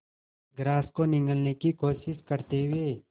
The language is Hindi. ग्रास को निगलने की कोशिश करते हुए